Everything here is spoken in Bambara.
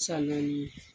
San naani